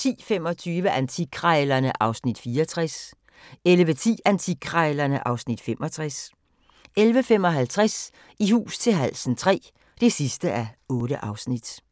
10:25: Antikkrejlerne (Afs. 64) 11:10: Antikkrejlerne (Afs. 65) 11:55: I hus til halsen III (8:8)